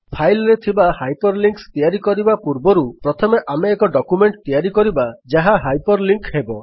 file ରେ hyperlinks ତିଆରି କରିବା ପୂର୍ବରୁ ପ୍ରଥମେ ଆମେ ଏକ ଡକ୍ୟୁମେଣ୍ଟ୍ ତିଆରି କରିବା ଯାହା ହାଇପରଲିଙ୍କ୍ ହେବ